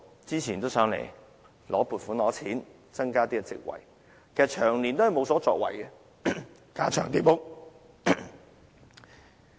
早前曾來到立法會申請撥款，增加職位，卻長年無所作為，架床疊屋。